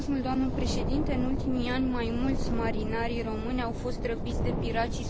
În ultimii ani, mai mulți marinari români au fost răpiți de pirații somalezi.